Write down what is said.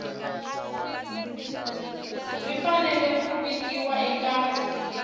ri fanele ku vikiwa eka